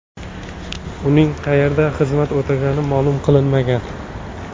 Uning qayerda xizmat o‘tagani ma’lum qilinmagan.